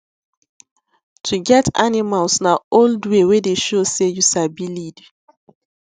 to get animals na old way wey dey show say you sabi lead